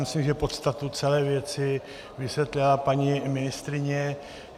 Myslím, že podstatu celé věci vysvětlila paní ministryně.